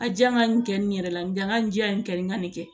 A ja n ka nin kɛ nin yɛrɛ la n ŋa nin ja in kɛ n ka nin kɛ